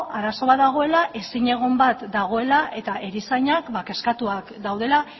arazo bat dagoela ezinegon bat dagoela eta erizainak kezkatuak daudela